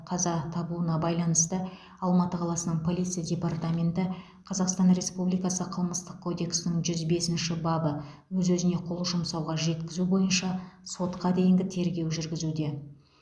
қаза табуына байланысты алматы қаласының полиция департаменті қазақстан республикасы қылмыстық кодексінің жүз бесінші бабы өз өзіне қол жұмсауға жеткізу бойынша сотқа дейінгі тергеу жүргізуде